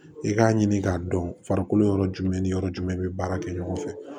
I k'a ɲini k'a dɔn farikolo yɔrɔ jumɛn ni yɔrɔ jumɛn i bɛ baara kɛ ɲɔgɔn fɛ